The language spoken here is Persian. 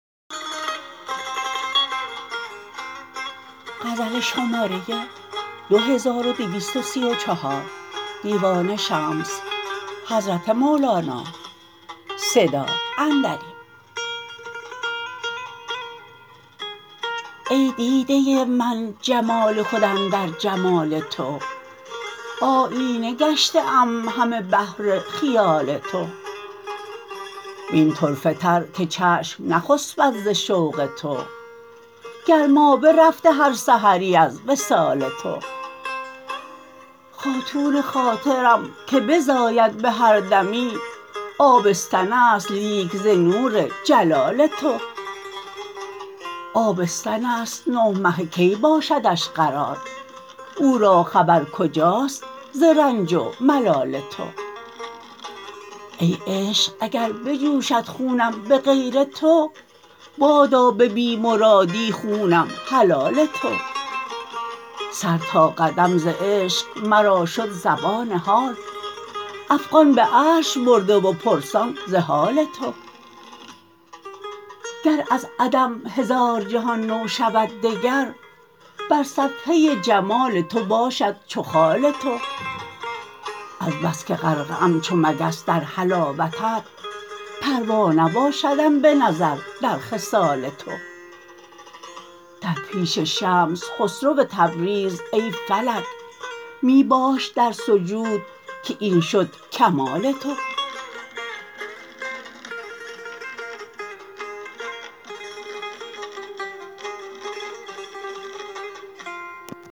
ای دیده من جمال خود اندر جمال تو آیینه گشته ام همه بهر خیال تو و این طرفه تر که چشم نخسپد ز شوق تو گرمابه رفته هر سحری از وصال تو خاتون خاطرم که بزاید به هر دمی آبستن است لیک ز نور جلال تو آبستن است نه مهه کی باشدش قرار او را خبر کجاست ز رنج و ملال تو ای عشق اگر بجوشد خونم به غیر تو بادا به بی مرادی خونم حلال تو سر تا قدم ز عشق مرا شد زبان حال افغان به عرش برده و پرسان ز حال تو گر از عدم هزار جهان نو شود دگر بر صفحه جمال تو باشد چو خال تو از بس که غرقه ام چو مگس در حلاوتت پروا نباشدم به نظر در خصال تو در پیش شمس خسرو تبریز ای فلک می باش در سجود که این شد کمال تو